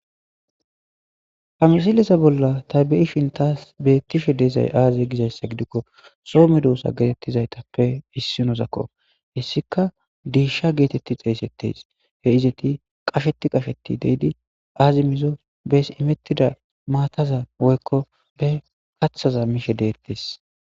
Ha msileza bolla ta be'ishen tasi bettishe dizay aaze giza issa gidikko so medoosa geetettizatappe issino zakko .He issika deesha geetetti xeesettes. He izati qasheti qasheti deyidi aazi mizo bes imettida maataza woykko bs kathaza mishe deettes.